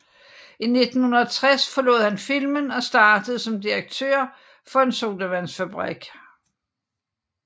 I 1960 forlod han filmen og startede som direktør for en sodavandsfabrik